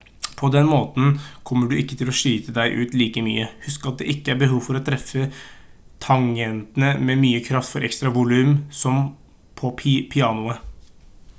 på denne måten kommer du ikke til å slite deg ut like mye husk at det ikke er behov for å treffe tangentene med mye kraft for ekstra volum som på pianoet